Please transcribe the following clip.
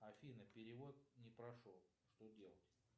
афина перевод не прошел что делать